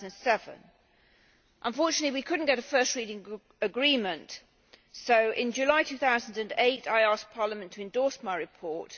2007. Unfortunately we could not get a first reading agreement, so in July 2008 I asked Parliament to endorse my report